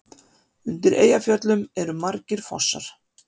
Undir Eyjafjöllum eru margir fossar.